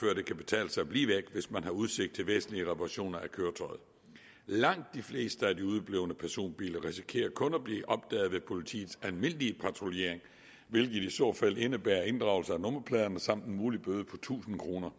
kan betale sig at blive væk hvis man har udsigt til væsentlige reparationer af køretøjet langt de fleste af de udeblevne personbiler risikerer kun at blive opdaget ved politiets almindelige patruljering hvilket i så fald indebærer inddragelse af nummerpladerne samt en mulig bøde på tusind kroner